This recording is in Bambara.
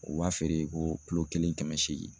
U b'a feere ko kulo kelen kɛmɛ seegin.